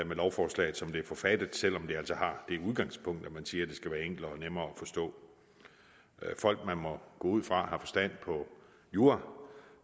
med lovforslaget som det er forfattet selv om det altså har det udgangspunkt at man siger at det skal være enklere og nemmere at forstå folk vi må gå ud fra har forstand på jura